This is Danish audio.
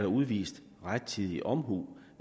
udvist rettidig omhu